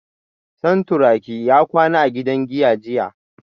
Santuraki ya kwana a gidan giya jiya